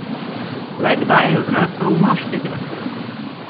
Le kdaj je zrasel v moškega?